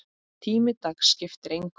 Tími dags skipti engu.